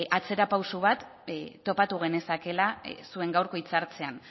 atzera pauso bat topatu genezakeela zuen gaurko hitzartzean